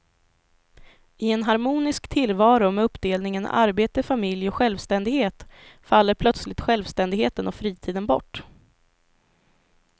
I en harmonisk tillvaro med uppdelningen arbete, familj och självständighet faller plötsligt självständigheten och fritiden bort.